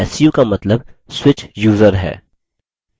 su का मतलब switch user है